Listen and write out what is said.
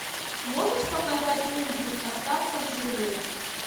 можешь показать мультик остаться в живых